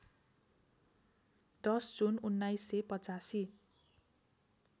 १० जुन १९८५